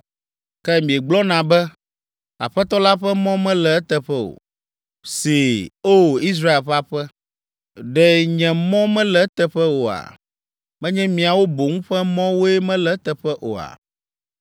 “Ke miegblɔna be, ‘Aƒetɔ la ƒe mɔ mele eteƒe o.’ ” See, O! Israel ƒe aƒe. Ɖe nye mɔ mele eteƒe oa? Menye miawo boŋ ƒe mɔwoe mele eteƒe oa?